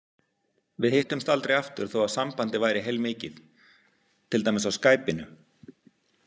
Við hittumst aldrei aftur þó að sambandið væri heilmikið, til dæmis á skæpinu.